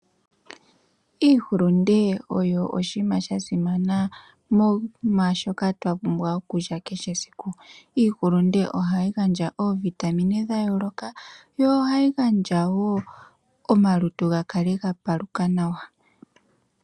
Iihulunde oyo oshima sha simana mwashoka twa pumbwa okulya kehe siku. Iihulunde ohayi gandja ovitamine dhayoloka, yo hayi gandjawo omalutu gakale gapaluka nawa.